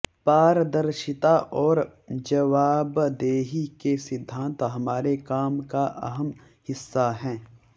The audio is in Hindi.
पारर्दिशता और जवाबदेही के सिद्धांत हमारे काम का अहम हिस्सा हैं